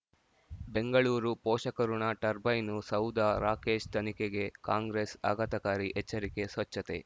ಬೆಂಗಳೂರು ಪೋಷಕಋಣ ಟರ್ಬೈನು ಸೌಧ ರಾಕೇಶ್ ತನಿಖೆಗೆ ಕಾಂಗ್ರೆಸ್ ಆಘಾತಕಾರಿ ಎಚ್ಚರಿಕೆ ಸ್ವಚ್ಛತೆ